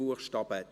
Buchstabe